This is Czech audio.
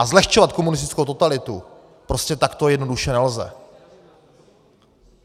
A zlehčovat komunistickou totalitu prostě takto jednoduše nelze.